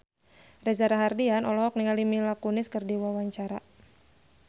Reza Rahardian olohok ningali Mila Kunis keur diwawancara